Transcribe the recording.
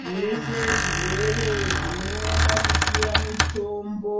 Zveshe zvirwere zvinoda kupiwa mitombo